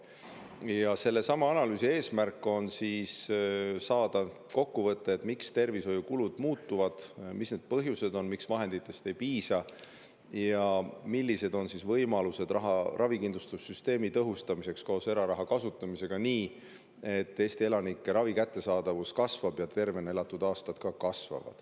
Ja sellesama analüüsi eesmärk on saada kokkuvõtted, miks tervishoiukulud muutuvad, mis on selle põhjused, miks vahenditest ei piisa ja millised on võimalused ravikindlustussüsteemi tõhustamiseks koos eraraha kasutamisega nii, et Eesti elanike ravi kättesaadavus kasvab ja tervena elatud aastaid lisandub.